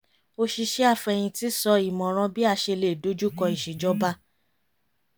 oṣìṣẹ́ afẹ̀yintì sọ ìmọ̀ràn bí a ṣe lè dojú kọ iṣe ìjọba